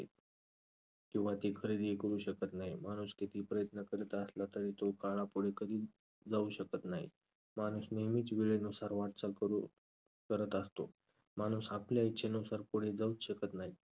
किंवा ती खरेदीही करू शकत नाही. माणूस कितीही प्रयत्न करीत असला तरी तो काळापुढे कधीच जाऊ शकत नाही. माणूस नेहमीच वेळेनुसार वाटचाल करू~ करत असतो. माणूस आपल्या इच्छेनुसार पुढे जाऊच शकत नाही.